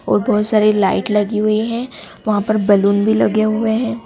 और बहोत सारे लाइट लगी हुई है वहां पे बैलून भी लगे हुए है।